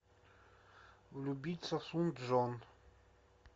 влюбиться в сун чжон